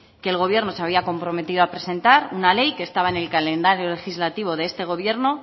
que el gobierno se había comprometido a presentar una ley que estaba en el calendario legislativo de este gobierno